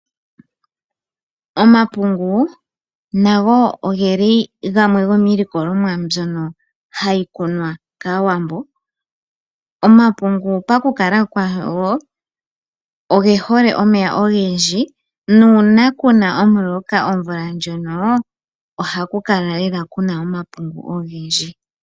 Omapungu nago oge li gamwe gomiilikolomwa mbyono hayi kunwa kAawambo. Omapungu pakukala kwago oge hole omeya ogendji nuuna kuna omuloka omvula ndjono ohaku kala lela kuna omapungu ogendji.